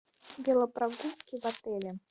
велопрогулки в отеле